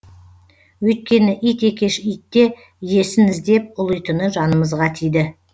өйткені ит екеш итте иесін іздеп ұлитыны жанымызға тиді